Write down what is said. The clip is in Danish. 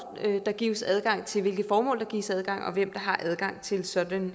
der gives adgang til hvilke formål der gives adgang og hvem der har adgang til sådanne